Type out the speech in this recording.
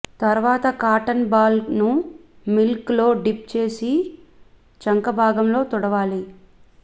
తర్వాత cotton ball ను milk లో డిప్ చేసి చంకబాగంలో తుడవాలి